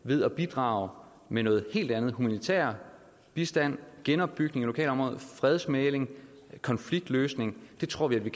ved at bidrage med noget helt andet humanitær bistand genopbygning af lokalområder fredsmægling konfliktløsning det tror vi